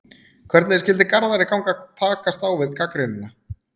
Hvernig skyldi Garðari ganga að takast á við gagnrýnina?